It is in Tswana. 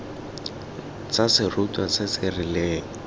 tsa serutwa se se rileng